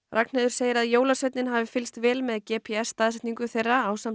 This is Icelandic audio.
Ragnheiður segir að jólasveinninn hafi fylgst vel með g p s staðsetningu þeirra ásamt